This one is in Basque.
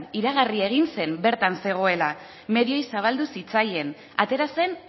iragarri egin zen bertan zegoela medioei zabaldu zitzaien atera zen